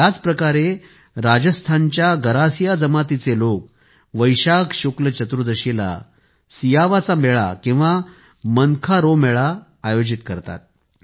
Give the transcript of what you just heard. याच प्रकारे राजस्थानच्या गरासिया जमातीचे लोक वैशाख शुक्ल चतुर्दशीला सियावा चा मेळा किंवा मनखां रो मेळा आयोजित केला जातो